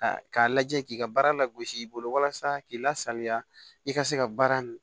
K'a lajɛ k'i ka baara langosi i bolo walasa k'i lasaliya i ka se ka baara